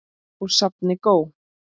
Úr safni GÓ.